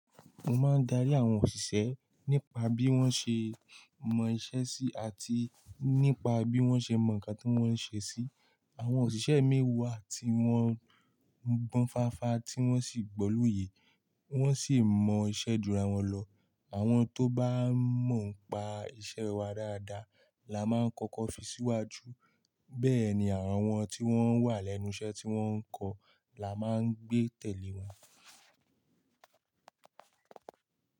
Mo máa ń darí àwọn òsìsẹ́ nípa bí wọ́n ṣe mọ iṣẹ́ sí àti nípa bí wọ́n ṣe mọ nǹkan tí wọ́n ń ṣe sí. Àwọn òṣìṣẹ́ mii wàá tí wọ́n ń gbọ́n fáfa tí wọ́n sì gbọ́ lo yè wọ́n sì mọ iṣẹ́ dúró wọn lọ. Àwọn tó bá mọ ń pa iṣẹ́ wa dáadáa la máa ń kọ́kọ́ fi síwájú bẹ́ẹ̀ ni àwọn tí wọ́n wà lẹ́nu iṣẹ́ tí wọ́n ń kọ la máa ń gbé tẹ̀lé wa.